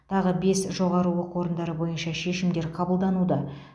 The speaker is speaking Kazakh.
тағы бес жоғары оқу орындары бойынша шешімдер қабылдануда